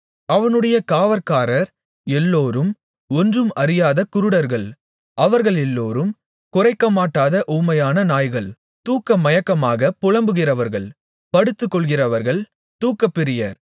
அவனுடைய காவற்காரர் எல்லோரும் ஒன்றும் அறியாத குருடர்கள் அவர்களெல்லோரும் குரைக்கமாட்டாத ஊமையான நாய்கள் தூக்கமயக்கமாகப் புலம்புகிறவர்கள் படுத்துக்கொள்கிறவர்கள் தூக்கப் பிரியர்